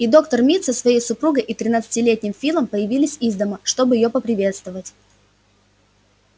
и доктор мид со своей супругой и тринадцатилетним филом появились из дома чтобы её поприветствовать